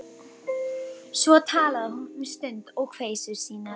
Svo talaði hún um stund um kveisur sínar.